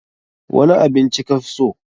Wani abin ci ka fi so?